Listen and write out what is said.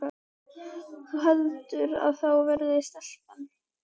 Þú heldur þá að það verði stelpa?